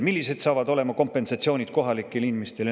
Millised saavad olema kompensatsioonid kohalikele inimestele?